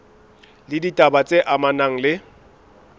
le ditaba tse amanang le